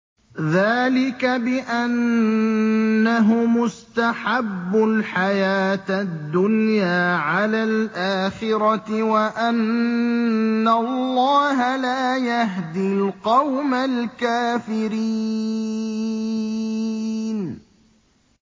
ذَٰلِكَ بِأَنَّهُمُ اسْتَحَبُّوا الْحَيَاةَ الدُّنْيَا عَلَى الْآخِرَةِ وَأَنَّ اللَّهَ لَا يَهْدِي الْقَوْمَ الْكَافِرِينَ